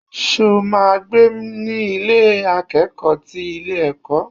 Ṣo ma gbé ní Ilé akẹ́kọ̀ọ́ ti ilé ẹ̀kọ́?